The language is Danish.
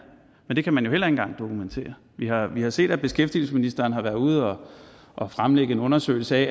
men det kan man jo heller ikke engang dokumentere vi har vi har set at beskæftigelsesministeren har været ude og og fremlægge en undersøgelse af